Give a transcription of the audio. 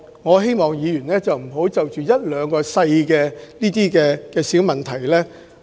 我希望議員不要用放大鏡檢視一兩項小問題......